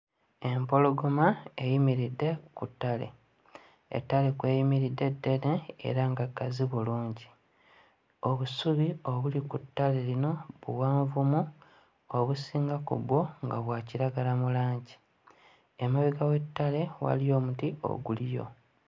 Empologoma eyimiridde ku ttale. Ettale kw'eyimiridde ddene era nga ggazi bulungi obusubi obuli ku ttale lino buwanvumu obusinga ku bwo nga bwa kiragala mu langi emabega w'ettale waliyo omuti oguliyo.